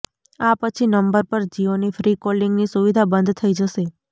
આ પછી નંબર પર જિયોની ફ્રી કોલિંગની સુવિધા બંધ થઈ જશે